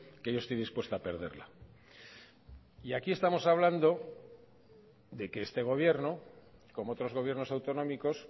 que yo estoy dispuesto a perderla y aquí estamos hablando de que este gobierno como otros gobiernos autonómicos